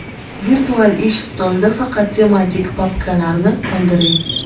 Virtual ish stolida faqat tematik papkalarni qoldiring.